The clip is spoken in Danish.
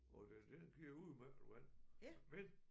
Og det den giver udmærket vand men